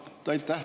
Aitäh!